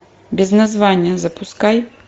без названия запускай